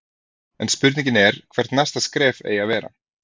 En spurningin er hvert næsta skref eigi að vera?